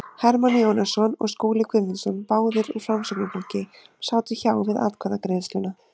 Hermann Jónasson og Skúli Guðmundsson, báðir úr Framsóknarflokki, sátu hjá við atkvæðagreiðsluna.